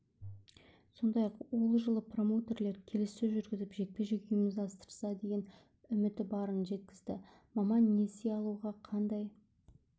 сондай-ақ ол жылы промоутерлер келіссөз жүргізіп жекпе-жек ұйымдастырса деген үміті барын жеткізді маман несие алуға қандай